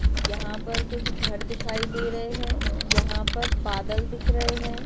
यहा पर कुछ घर दिखाई दे रहे है। यहा पर बादल दिख रहे है।